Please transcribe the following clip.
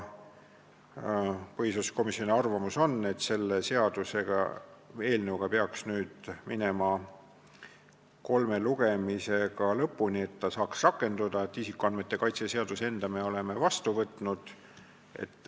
Põhiseaduskomisjoni arvamus on, et selle seaduseelnõuga peaks nüüd minema kolmel lugemisel lõpuni, et see saaks rakenduda, sest isikuandmete kaitse seaduse enda me oleme vastu võtnud.